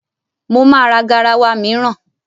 Mo ma ra garawa mìíràn.